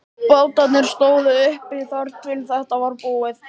Bátarnir stóðu uppi þar til þetta var búið.